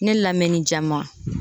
Ne lamɛnni jama